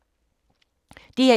DR1